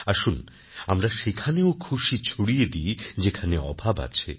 আসুন আমরা সেখানেও খুশি ছড়িয়ে দিই যেখানে অভাব আছে